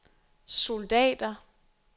soldater